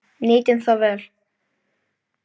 Nýtum það vel.